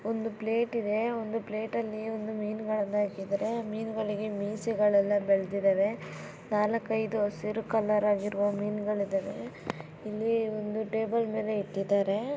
ಒಂದು ಪ್ಲೇಟ್ ಇದೆ ಒಂದು ಪ್ಲೇಟ್ ಅಲ್ಲಿ ಮೀನುಗಳೆಲ್ಲ ಇಟ್ಟಿದ್ದಾರೆ. ಮೀನುಗಳಿಗೆ ಮೀಸೆಗಳೆಲ್ಲ ಬೆಳೆದಿದೆ ನಾಲ್ಕೈದು ಹಸಿರು ಕಲರ್ ಆಗಿರೋ ಮೀನುಗಳಿವೆ ಇಲ್ಲಿ ಒಂದು ಟೇಬಲ್ ಮೇಲೆ ಇಟ್ಟಿದ್ದಾರೆ.